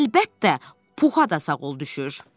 Əlbəttə, Puha da sağ ol düşür.